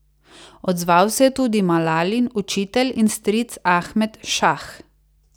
Odzval se je tudi Malalin učitelj in stric Ahmed Šah.